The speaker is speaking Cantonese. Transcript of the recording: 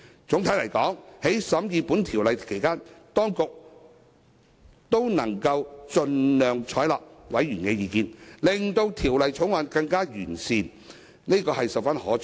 總的來說，在審議《條例草案》期間，當局能夠盡量採納委員的意見，令《條例草案》更加完善，這是十分可取的。